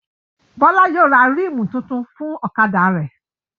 Bọ́lá yóò ra ríìmù tuntun fún ọ̀kadà rẹ̀